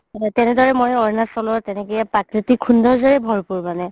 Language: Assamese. তেনেদৰে মই আৰুণাচলতে তেনেকে প্ৰাকৃতিক সৌন্দৰ্য ভৰপুৰ মানে